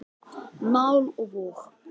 Mál og vog.